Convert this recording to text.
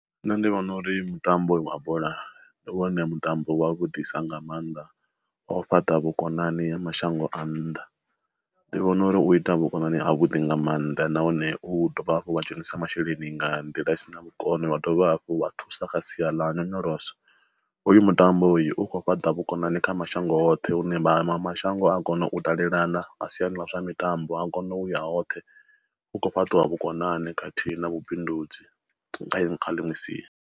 Nṋe ndi vhona uri mutambo wa bola, ndi wone mutambo wa vhudisa nga mannḓa o fhaṱa vhukonani mashango a nnḓa. Ndi vhona uri u ita vhukonani a vhuḓi nga maanḓa nahone u dovha hafhu wa dzhenisa masheleni nga nḓila i si na kono wa dovha hafhu wa thusa kha sia ḽa nyonyoloso. Uyu mutambo uyu u khou fhaṱa vhukonani kha mashango hoṱhe hune vha mashango a kona u dalelana a siani ḽa zwa mitambo, akona uya hoṱhe u kho fhaṱiwa vhukonani khathihi na vhubindudzi kana kha ḽiṅwe sia.